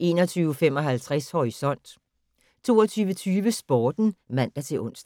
21:55: Horisont 22:20: Sporten (man-ons)